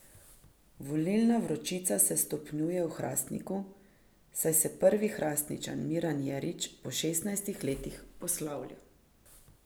Volilna vročica se stopnjuje v Hrastniku, saj se prvi Hrastničan Miran Jerič po šestnajstih letih poslavlja.